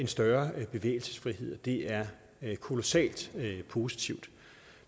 større bevægelsesfrihed og det er kolossalt positivt